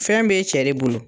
Fɛn b'e cɛ de bolo